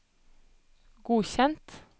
godkjent